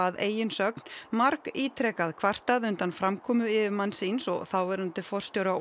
að eigin sögn margítrekað kvartað undan framkomu yfirmanns síns og þáverandi forstjóra